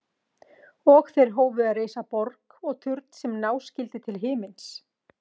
Og lögreglan hafi varað fólk við